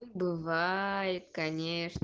бывает конечно